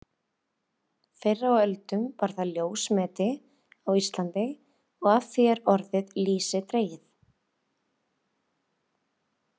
Fyrr á öldum var það ljósmeti á Íslandi og af því er orðið lýsi dregið.